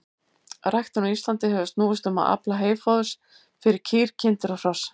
Ræktun á Íslandi hefur snúist um að afla heyfóðurs fyrir kýr, kindur og hross.